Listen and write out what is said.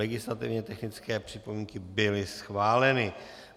Legislativně technické připomínky byly schváleny.